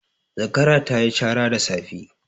Zakara ta yi cara da safe.